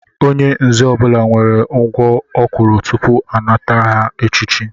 Onye nzé ọbula nwèrè ugwọ ọ kwụrụ tupu ọ nata aha echiche